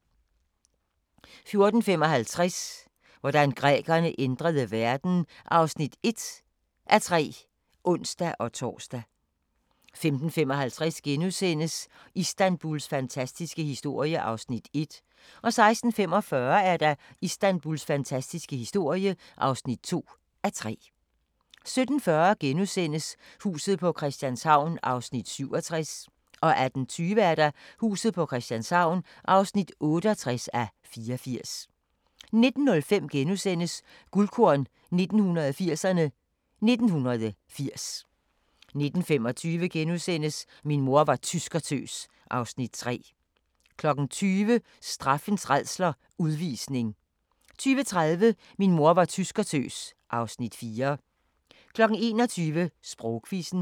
14:55: Hvordan grækerne ændrede verden (1:3)(ons-tor) 15:50: Istanbuls fantastiske historie (1:3)* 16:45: Istanbuls fantastiske historie (2:3) 17:40: Huset på Christianshavn (67:84)* 18:20: Huset på Christianshavn (68:84)* 19:05: Guldkorn 1980'erne: 1980 * 19:25: Min mor var tyskertøs (Afs. 3)* 20:00: Straffens rædsler – Udvisning 20:30: Min mor var tyskertøs (Afs. 4) 21:00: Sprogquizzen